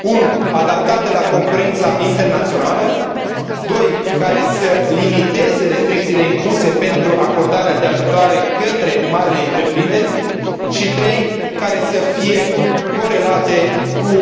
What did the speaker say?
1 adaptată la concurența internațională, 2 care să limiteze restricțiile impuse pentru acordarea de ajutoare către marile întreprinderi și 3 care să fie corelată cu